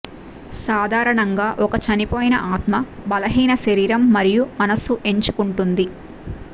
సాధారణంగా ఒక చనిపోయిన ఆత్మ బలహీన శరీరం మరియు మనస్సు ఎంచుకుంటుంది